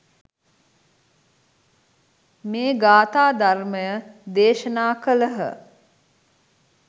මේ ගාථා ධර්මය දේශනා කළහ.